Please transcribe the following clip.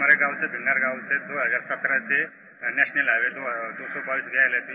हमारे गाँव से भिन्नर गाँव से 2017 से नेशनल हाइवे गया है